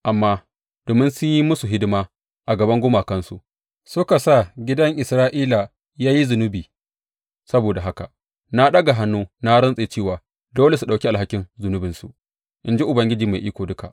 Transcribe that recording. Amma domin sun yi musu hidima a gaban gumakansu suka sa gidan Isra’ila ya yi zunubi, saboda haka na ɗaga hannu na rantse cewa dole su ɗauki alhakin zunubinsu, in ji Ubangiji Mai Iko Duka.